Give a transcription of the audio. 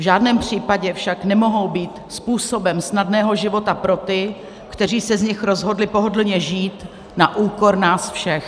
V žádném případě však nemohou být způsobem snadného života pro ty, kteří se z nich rozhodli pohodlně žít na úkor nás všech.